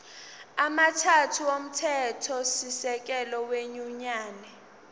amathathu omthethosisekelo wenyunyane